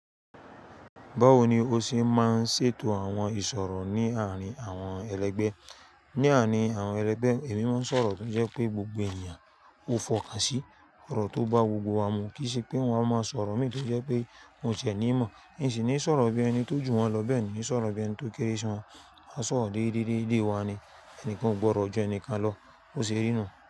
Báwo ni ó ṣe máa ń ṣètò àwọn ìṣòro ní àárín àwọn ẹlẹgbẹ́? Ní àárín àwọn ẹlẹgbẹ́, èmi máa ń sọ̀rọ̀ tó jẹ́ pé gbogbo ènìyàn ó fọkàsí ọ̀rọ̀ tó bá gbogbo wa mu, kì í ṣe pé wọn á máa sọ̀rọ̀ méto jẹ́ pé wọ́n ò ṣẹ̀ ní ìmọ̀, i n sì ní sọ̀rọ̀ bí ẹni tó jù wọn lọ bẹ́ẹ̀ ni sọ̀rọ̀ bí ẹni tó kéré sí wọn, a sọ̀rọ̀ dédé dédé wa ni, ẹnìkan ò gbọdọ̀ jẹ ẹnìkan lọ, ó ṣe rí nu?